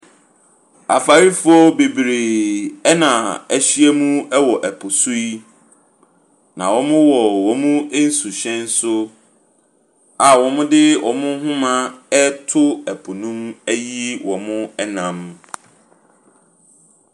Afarefoɔ bebree na wɔahyia mu wɔ po so yi. Na wɔwɔ wɔn nsuhyɛn so a wɔde wɔn nhoma reto po no mu ayi wɔn nam.